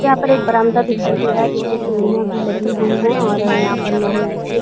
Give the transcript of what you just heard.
यह एक बरामदा दिखाई दे रहा है। इस पर सीड़िया भी लगाई हुई है और यहाँ पर लोहे की --